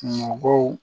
Mɔgɔw